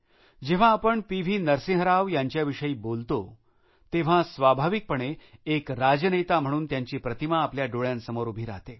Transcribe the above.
जेव्हा आपण P V Narasimha Rao यांच्याविषयी जेव्हा बोलतो तेव्हा स्वाभाविकपणे एक राजनेता म्हणून त्यांची प्रतिमा आपल्या डोळ्यांसमोर उभी राहते